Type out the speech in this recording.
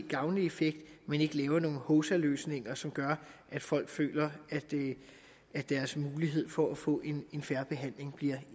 gavnlig effekt men ikke laver nogle hovsaløsninger som gør at folk føler deres mulighed for at få en fair behandling bliver